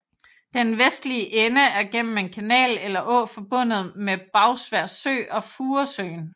Den vestlige ende er gennem en kanal eller å forbundet med Bagsværd Sø og Furesøen